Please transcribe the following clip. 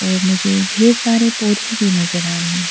और मुझे ढेर सारे पौधे भी नजर आ रहे हैं।